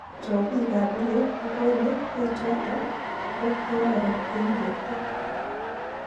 Chobik ab Rio ko kole bechoto ko kororon eng borto.